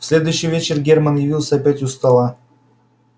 в следующий вечер германн явился опять у стола